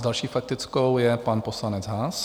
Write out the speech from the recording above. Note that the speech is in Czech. S další faktickou je pan poslanec Haas.